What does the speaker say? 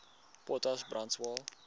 potas brand swael